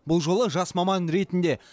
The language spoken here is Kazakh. бұл жолы жас маман ретінде